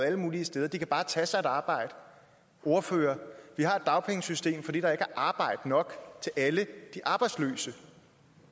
alle mulige steder at de bare kan tage sig et arbejde ordfører vi har et dagpengesystem fordi der ikke er arbejde nok til alle de arbejdsløse